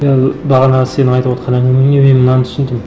мен бағана сенің айтып отырған әңгімеңнен мен мынаны түсіндім